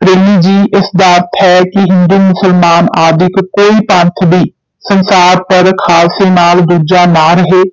ਪ੍ਰੇਮੀ ਜੀ ਇਸ ਦਾ ਅਰਥ ਹੈ ਕਿ ਹਿੰਦੂ ਮੁਸਲਮਾਨ ਆਦਿਕ ਕੋਈ ਪੰਥ ਵੀ ਸੰਸਾਰ ਪਰ ਖਾਲਸੇ ਨਾਲ ਦੂਜਾ ਨਾ ਰਹੇ,